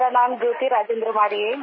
मेरा नाम ज्योति राजेंद्र वाडे है